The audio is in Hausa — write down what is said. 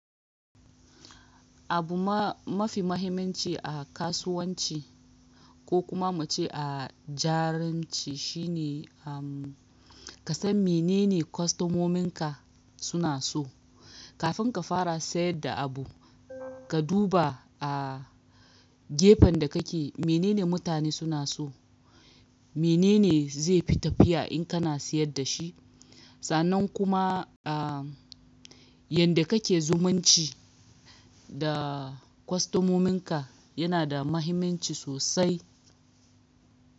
Abu mafi mahimmanci a kasuwanci, ko kuma muce a jaranci shi ne ka san menene kwastomomin ka, suna so. Kafin ka fara sayar da abu, ka duba a gefen da kake, menene mutane suna so, menene zai fi tafiya in kana sayar da shi. Sannan kuma, yanda kake zumunci da kwastomomin ka yana da mahimmanci sosai.